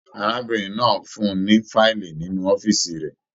Arábìnrin náà fún ní fiili nínú ọ̀fiísí rẹ.